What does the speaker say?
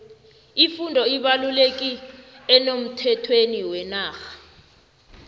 ifundo ibalulekile emnothweni wenarha